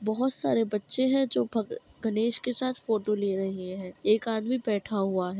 बहोत सारे बच्चे है जो भग गणेश के साथ फोटो ले रहे है एक आदमी बैठा हुआ है।